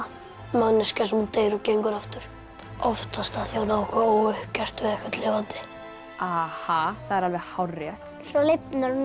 manneskja sem deyr og gengur aftur oftast af því hún á óuppgert við einhvern lifandi það er alveg hárrétt svo lifnar hún